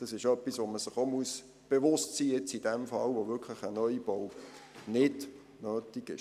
Das ist etwas, dessen man sich auch bewusst sein muss, in diesem Fall, wo ein Neubau wirklich nicht nötig ist.